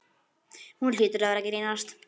Hún hlýtur að vera að grínast.